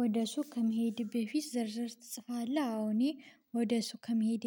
ወደ ሱቅ ከመሄድህ በፊት ዝርዝር ትጽፋለህ? አዎ እኔ ወደ ሱቅ ከመሄዴ